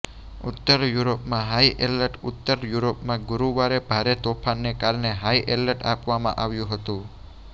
ઉત્તર યુરોપમાં high alert ઉત્તર યુરોપમાં ગુરુવારે ભારે તોફાનને કારણે હાઈ એલર્ટ આપવામાં આવ્યું હતું